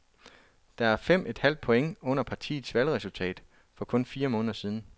Det er fem et halvt point under partiets valgresultat for kun fire måneder siden.